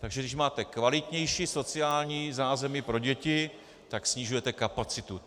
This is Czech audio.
Takže když máte kvalitnější sociální zázemí pro děti, tak snižujete kapacitu.